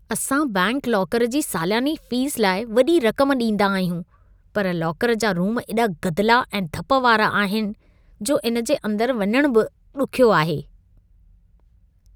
असां bank locker जी साल्यानी फीस लाइ वॾी रक़म ॾींदा आहियूं। पर लाकर जा रूम एॾा गदिला ऐं धप वारा आहिनि, जो इन जे अंदर वञण बि ॾुख्यो आहे।